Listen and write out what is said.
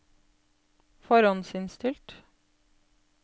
forhåndsinnstilt